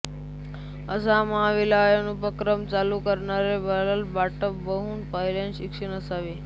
असा महाविद्यालयीन उपक्रम चालू करणारे उल्हास बापट बहुधा पहिलेच शिक्षक असावेत